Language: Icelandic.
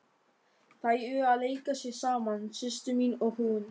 Þær eru að leika sér saman, systir mín og hún.